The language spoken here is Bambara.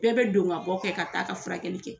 Bɛɛ bɛ don ka bɔ kɛ, ka taa ka furakɛlli kɛ.